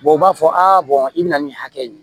u b'a fɔ a i bɛna nin hakɛ in